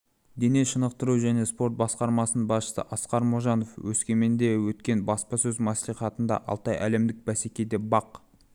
дене шынықтыру және спорт басқармасының басшысы асқар можанов өскеменде өткен баспасөз мәслихатында алтай әлемдік бәсекеде бақ